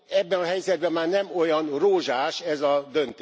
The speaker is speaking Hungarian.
Ebben a helyzetben már nem olyan rózsás ez a döntés.